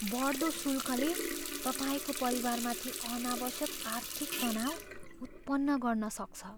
बढ्दो शुल्कले तपाईँको परिवारमाथि अनावश्यक आर्थिक तनाव उत्पन्न गर्न सक्छ।